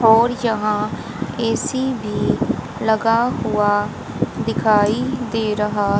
और यहां ए_सी भी लगा हुआ दिखाई दे रहा।